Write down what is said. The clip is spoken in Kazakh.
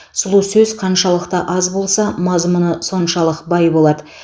сұлу сөз қаншалықты аз болса мазмұны соншалық бай болады